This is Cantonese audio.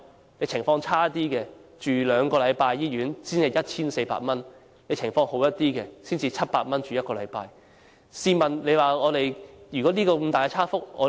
如果情況較差，要留院兩個星期，只須支付 1,400 元；若情況較好，只須留院1個星期，則僅須支付700元。